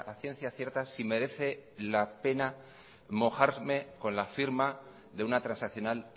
ciencia cierta si merece la pena mojarme con la firma de una transaccional